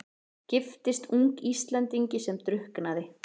Giftist ung Íslendingi sem drukknaði.